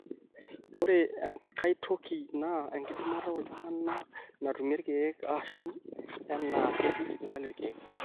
ore enkai toki naa enkidimata oltung'ani natumie irkeek aashu enaa ketii sipitali irkeek